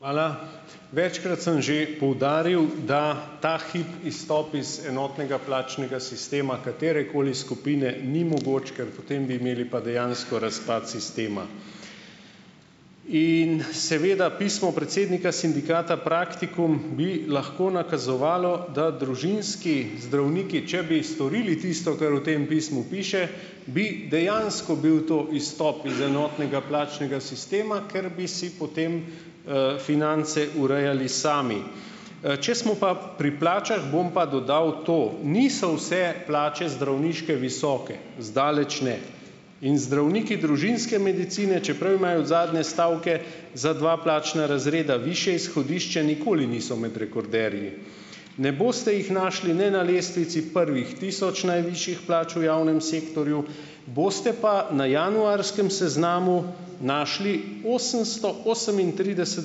Hvala. Večkrat sem že poudaril, da ta hip izstop iz enotnega plačnega sistema katerekoli skupine ni mogoč, ker potem bi imeli pa dejansko razpad sistema. In seveda pismo predsednika sindikata Praktikum bi lahko nakazovalo, da družinski zdravniki, če bi storili tisto, kar v tem pismu piše, bi dejansko bil to izstop iz enotnega plačnega sistema, ker bi si potem, finance urejali sami. Če smo pa pri plačah, bom pa dodal to - niso vse plače zdravniške visoke, zdaleč ne, in zdravniki družinske medicine, čeprav imajo od zadnje stavke za dva plačna razreda višje izhodišče, nikoli niso med rekorderji. Ne boste jih našli ne na lestvici prvih tisoč najvišjih plač v javnem sektorju, boste pa na januarskem seznamu našli osemsto osemintrideset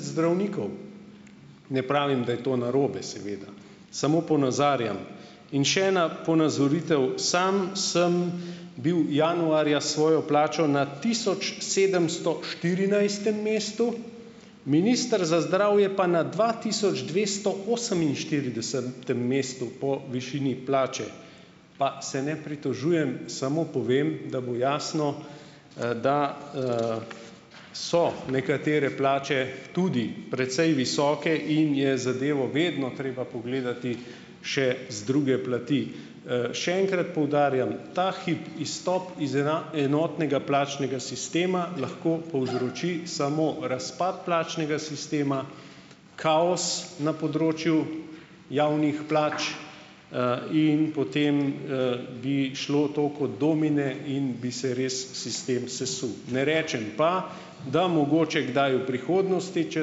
zdravnikov - ne pravim, da je to narobe, seveda, samo ponazarjam. In še ena ponazoritev. Sam sem bil januarja s svojo plačo na tisočsedemstoštirinajstem mestu, minister za zdravje pa na dvatisočdvestooseminštiridesetem mestu po višini plače, pa se ne pritožujem, samo povem, da bo jasno, da, so nekatere plače tudi precej visoke in je zadevo vedno treba pogledati še z druge plati. Še enkrat poudarjam, ta hip izstop iz enotnega plačnega sistema lahko povzroči samo razpad plačnega sistema, kaos na področju javnih plač, in potem, bi šlo to kot domine in bi se res sistem sesul. Ne rečem pa, da mogoče kdaj v prihodnosti, če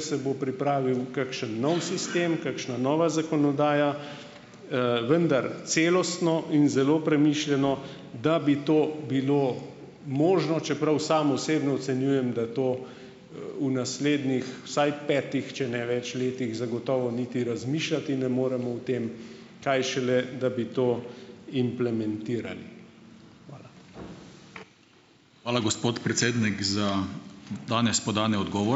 se bo pripravil kakšen nov sistem, kakšna nova zakonodaja, vendar celostno in zelo premišljeno, da bi to bilo možno, čeprav sam osebno ocenjujem, da to, v naslednjih vsaj petih, če ne več letih zagotovo niti razmišljati ne moremo o tem, kaj šele, da bi to implementirali. Hvala, gospod predsednik, za danes podane odgovore.